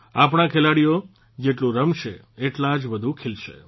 આપણા ખેલાડીઓ જેટલું રમશે એટલા જ વધુ ખિલશે